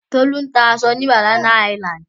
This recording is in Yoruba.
Tolú ń ta aṣọ ní Banana Island.